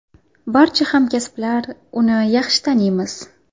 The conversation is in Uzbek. Barcha hamkasblar uni yaxshi taniymiz.